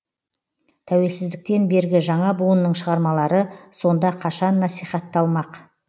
тәуелсіздіктен бергі жаңа буынның шығармалары сонда қашан насихатталмақ